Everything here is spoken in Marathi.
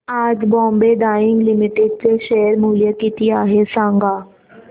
आज बॉम्बे डाईंग लिमिटेड चे शेअर मूल्य किती आहे सांगा